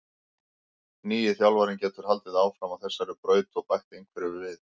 Nýi þjálfarinn getur haldið áfram á þessari braut og bætt einhverju við.